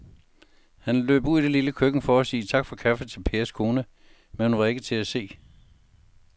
Han løb ud i det lille køkken for at sige tak for kaffe til Pers kone, men hun var ikke til at se.